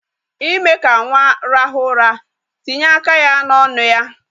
Ime ka nwa rahu ura, tinye aka ya n'onu ya.